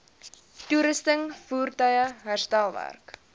toerusting voertuie herstelwerk